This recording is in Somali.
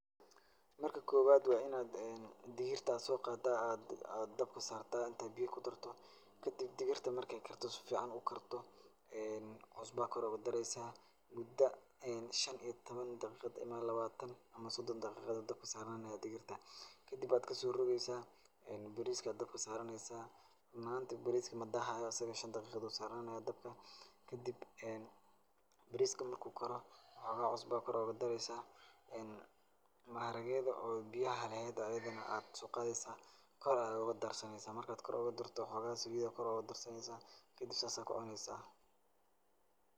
Marka koowad waa inaa digirta soo qadaa aad aad dabka saartaa inta aad biyo ku darto. Kadib digirta marka ay karto sificaan ukarto ee cusbaa kor ugu dareysaa mudo shan iyo tobon daqiiqad ama labaatan ama sodon daqiiqa ayaa dabka saarani digirta. Kadib waad kasoorogaysaa, bariiska ayaa dabka saaranaysaa. Run ahaanti bariiska madaahaayo asiga shan daqiiqad uu saara naa nayaa dabka. Kadib bariiska marka uu karo hoogaha usbo ah ayaa kor oogu dareysaa. Maaragweda oo biyaha leheed oo ayidana aad soo qaadaysaa kor ayaad uga darsanaysaa. Marka aad kor ugu darto xoogaha saliit ah kor ugu darsanaysaa kadib saas ayaa ku cunaysaa.